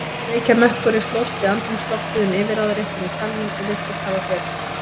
Reykjarmökkurinn slóst við andrúmsloftið um yfirráðaréttinn í salnum og virtist hafa betur.